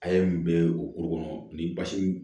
A' ye mun bɛ o ko kɔnɔ ni basi